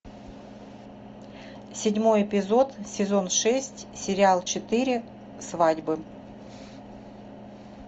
седьмой эпизод сезон шесть сериал четыре свадьбы